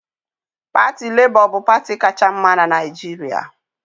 Parti Lebọ bu parti kacha mma n'Naijiria